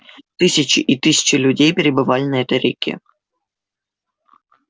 тысячи и тысячи людей перебывали на этой реке